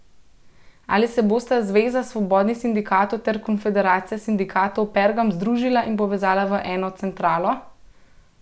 Ali se bosta zveza svobodnih sindikatov ter konfederacija sindikatov Pergam združila in povezala v eno centralo?